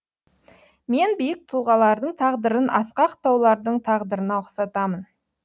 мен биік тұлғалардың тағдырын асқақ таулардың тағдырына ұқсатамын